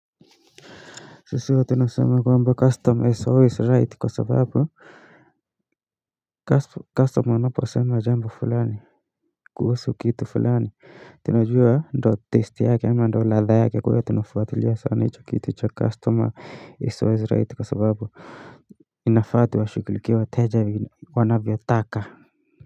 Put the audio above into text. Sisi huwa tunasema kwamba 'customer is always right' kwa sababu Customer anaposema jambo fulani kuhusu kitu fulani Tunajua ndio taste yake ama ndio ladha yake kwa hiyo tunafuatilia sana hicho kitu cha customer is always right kwa sababu inafaa tuwashughulikie wateja wanavyotaka.